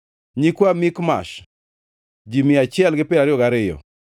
nyikwa Mikmash, ji mia achiel gi piero ariyo gariyo (122),